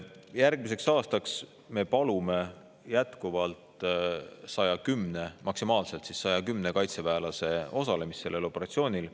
Järgmiseks aastaks me palume jätkuvalt maksimaalselt 110 kaitseväelase osalemist sellel operatsioonil.